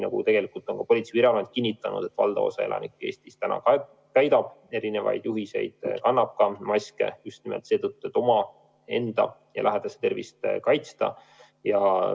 Ka Politsei- ja Piirivalveamet on kinnitanud, et valdav osa Eesti elanikest täidab juhiseid ning kannab maski just nimelt seetõttu, et omaenda ja lähedaste tervist kaitsta.